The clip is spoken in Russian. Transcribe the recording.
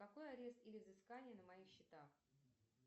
какой арест или взыскание на моих счетах